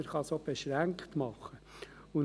Er kann dies auch beschränkt tun.